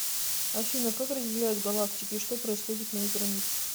афина как разделяют галактики и что происходит на их границах